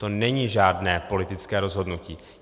To není žádné politické rozhodnutí.